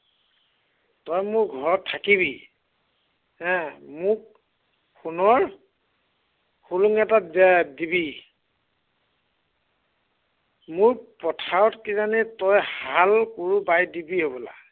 তই মোৰ ঘৰত থাকিবি, হা, মোক সোণৰ, খোৰোং এটা দিয়াই দিবি। মোৰ পথাৰত কিজানি তই হাল কোৰো বাই দিবি হ'বলা।